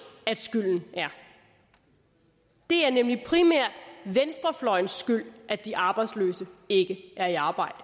at skylden er det er nemlig primært venstrefløjens skyld at de arbejdsløse ikke er i arbejde